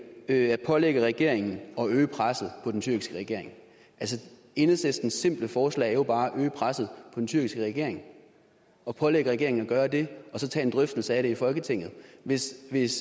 at pålægge regeringen at øge presset på den tyrkiske regering enhedslistens simple forslag er jo bare at øge presset den tyrkiske regering og pålægge regeringen at gøre det og så tage en drøftelse af det i folketinget hvis hvis